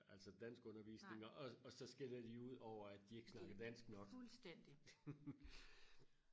altså danskundervisning og og så skælder de ud over at de ikke snakker dansk nok